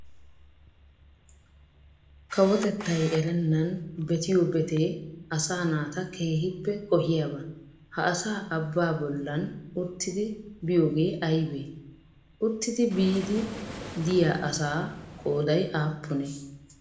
Kawotettaay erenaan betiyo beetee asaa naata keehippe qohoyaba, ha asaa abbaa bollan uttiddi biyoogee aybee? Uttidi biidi diya asaa qooday aappunee?